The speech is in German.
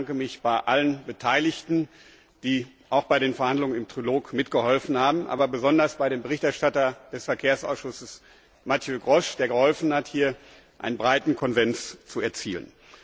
Ich bedanke mich bei allen Beteiligten, die auch bei den Verhandlungen im Trilog mitgeholfen haben, aber besonders bei dem Berichterstatter des Verkehrsausschusses, Mathieu Grosch, der geholfen hat, hier einen breiten Konsens zu erzielen.